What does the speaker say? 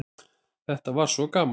Þetta var svo gaman.